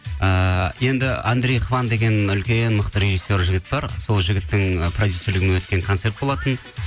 ыыы енді андрей хван деген үлкен мықты режиссер жігіт бар сол жігіттің ы продюсерлігімен өткен концерт болатын